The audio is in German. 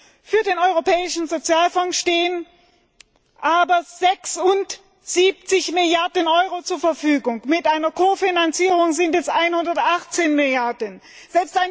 festgelegt. Für den Europäischen Sozialfonds stehen aber 76 Milliarden Euro zur Verfügung, mit einer Ko Finanzierung sind es 118 Milliarden Euro!